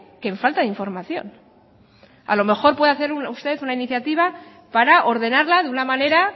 que en falta de información a lo mejor puede hacer usted una iniciativa para ordenarla de una manera